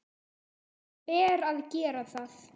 Honum ber að gera það.